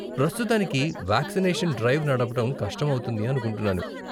ప్రస్తుతానికి vaccination drive నడపటం కష్టం అవుతుంది అనుకుంటున్నాను.